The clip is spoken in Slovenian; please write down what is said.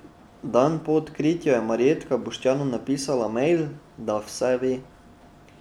Dan po odkritju je Marjetka Boštjanu napisala mejl, da vse ve.